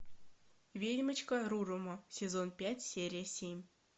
ведьмочка рурумо сезон пять серия семь